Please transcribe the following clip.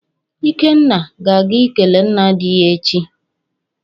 Ikenna ga-aga ikele nna di ya echi.